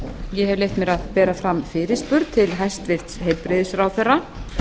ég hef leyft mér að bera fram fyrirspurn til hæstvirts heilbrigðisráðherra